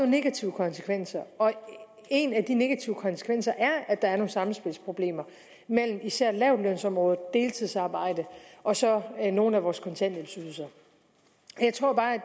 negative konsekvenser og en af de negative konsekvenser er at der er nogle sammenspilsproblemer mellem især lavtlønsområdet deltidsarbejde og så nogle af vores kontanthjælpsydelser jeg tror bare at